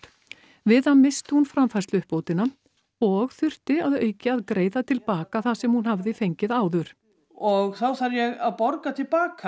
við það missti hún framfærsluuppbótina og þurfti að auki að greiða til baka það sem hún hafði fengið áður og þá þarf ég að borga til baka